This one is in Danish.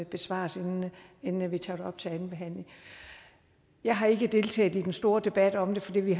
besvares inden vi tager det op til anden behandling jeg har ikke deltaget i den store debat om det fordi vi